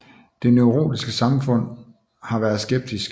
Det neurologiske samfund har været skeptisk